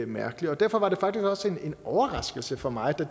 mærkeligt derfor var det faktisk også en overraskelse for mig da